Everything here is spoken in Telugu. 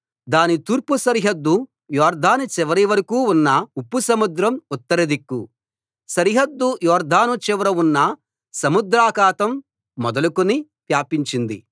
దాని తూర్పు సరిహద్దు యొర్దాను చివరివరకూ ఉన్న ఉప్పు సముద్రం ఉత్తరదిక్కు సరిహద్దు యొర్దాను చివర ఉన్న సముద్రాఖాతం మొదలుకొని వ్యాపించింది